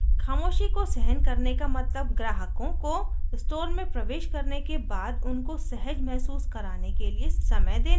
ख़ामोशी को सहन करने का मतलब ग्राहकों को स्टोर में प्रवेश करने के बाद उनको सहज महसूस कराने के लिए समय देने से है